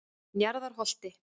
Njarðarholti